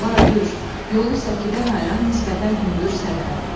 Bordur, yolu səkidən ayıran nisbətən hündür sərhəd.